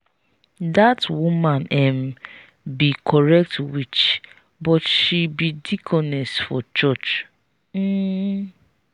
that woman um be correct witch but she be deaconess for church um.